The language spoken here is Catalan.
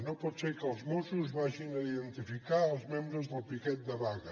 no pot ser que els mossos vagin a identificar els membres del piquet de vaga